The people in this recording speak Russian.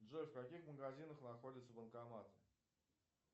джой в каких магазинах находятся банкоматы